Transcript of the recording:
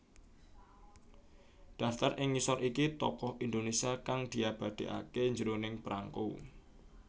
Daftar ing ngisor iki Tokoh Indonesia kang diabadèkaké jroning prangko